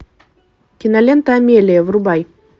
кинолента амелия врубай